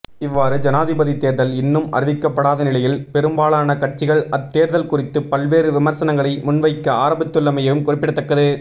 இவ்வாறு ஜனாதிபதி தேர்தல் இன்னும் அறிவிக்கப்படாத நிலையில் பெரும்பாலான கட்சிகள் அத்தேர்தல் குறித்து பல்வேறு விமர்சனங்களை முன்வைக்க ஆரம்பித்துள்ளமையும் குறிப்பிடத்தக்கது